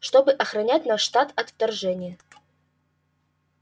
чтобы охранять наш штат от вторжения